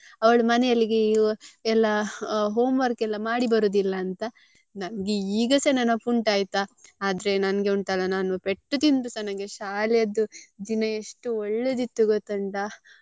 ಅವ್ಳು ಮನೆಯಲ್ಲಿ ಎಲ್ಲ home work ಎಲ್ಲ ಮಾಡಿ ಬರುದಿಲ್ಲ ಅಂತ ನಂಗೆ ಈಗಸ ನೆನಪುಂಟು ಆಯ್ತಾ ಆದ್ರೆ ನಂಗೆ ಉಂಟಲ್ಲ ನಾನು ಪೆಟ್ಟು ತಿಂದ್ರುಸ ನಂಗೆ ಶಾಲೆದ್ದು ದಿನ ಎಷ್ಟು ಒಳ್ಳೇದಿತ್ತು ಗೊತ್ತುಂಟಾ.